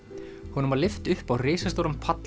honum var lyft upp á risastóran pall